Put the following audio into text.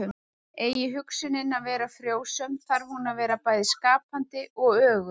Eigi hugsunin að vera frjósöm þarf hún að vera bæði skapandi og öguð.